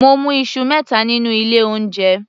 Mo mú Isu mẹta nínú ilé oúnjẹ